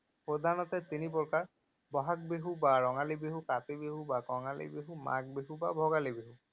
প্ৰধানতঃ তিনি প্ৰকাৰ, বহাগ বিহু বা ৰঙালী বিহু, কাতি বিহু বা কঙালী বিহু, মাঘ বিহু বা ভোগালী বিহু।